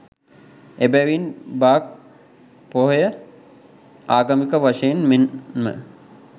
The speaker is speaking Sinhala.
එබැවින් බක් පොහොය ආගමික වශයෙන් මෙන්ම,